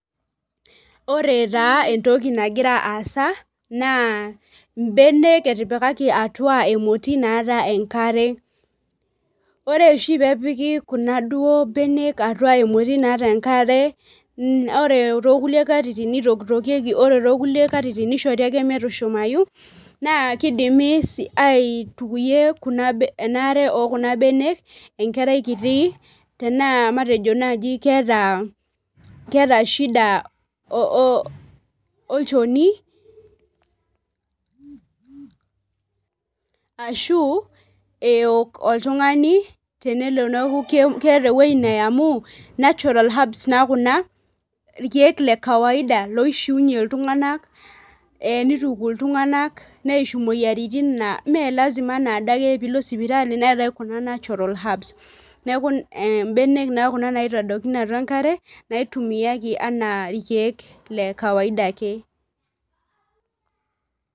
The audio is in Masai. Ore taa entoki nagira aasa na mbenek etipikaki atua emoti naata enkare, ore oshi peepiki kunabenek atua enkare ore tokulie katitin nitokitokieki ore tonkulie katitin niahore ake metushumayu nakidimi si aitukuyie kuna ariak okunabenek enkerai kiti taanaa matejo nai keeta shida olchoni ashu eok oltungani tenelo na keeta ewoi naya amu natural herbs duo kuna irkiek lekawaida loishiunye ltunganak e nituku ltunganak neishu moyiaritin na melasima anadake peilo sipitali neetae kuna natural herbs neaku mbenek kuna naitadokini enkare naitumiai anaa irkiek lekawaida ake.